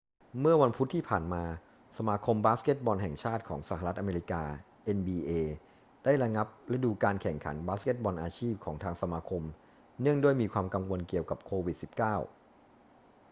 เมื่อวันพุธที่ผ่านมา สมาคมบาสเกตบอลแห่งชาติของสหรัฐอเมริกา nba ได้ระงับฤดูกาลแข่งขันบาสเกตบอลอาชีพของทางสมาคมเนื่องด้วยมีความกังวลเกี่ยวกับโควิด-19